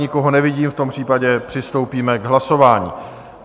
Nikoho nevidím, v tom případě přistoupíme k hlasování.